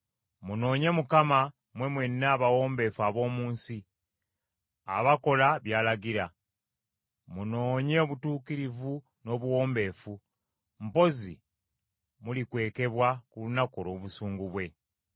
Munoonye Mukama , mmwe mwenna abawombeefu ab’omu nsi, abakola by’alagira; munoonye obutuukirivu n’obuwombeefu; mpozzi mulikwekebwa ku lunaku olw’obusungu bwe.